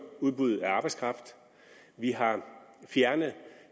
udbuddet af arbejdskraft vi har fjernet